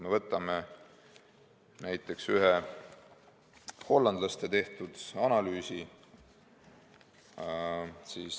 Võtame näiteks ühe hollandlaste tehtud analüüsi.